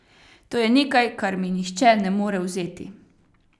To je nekaj, kar mi nihče ne more vzeti.